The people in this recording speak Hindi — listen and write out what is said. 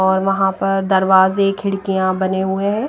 और वहां पर दरवाजे खिड़कियां बने हुए हैं।